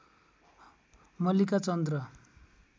मल्लिका चन्द र